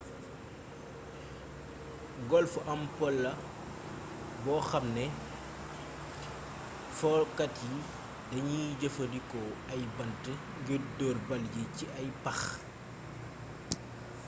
golf am po la boo xam ne fokat yi dañuy jëfandikoo ay bant ngir door bal yi ci ay pax